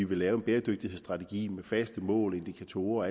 vil lave en bæredygtighedsstrategi med faste mål indikatorer